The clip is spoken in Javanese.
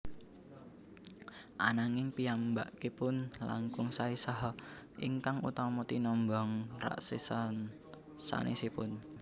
Ananging piyambakipun langkung saè saha ingkang utama tinimbang raksesa sanesipun